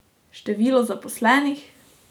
Število zaposlenih?